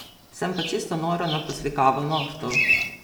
Sem pa čisto nora na poslikavo nohtov!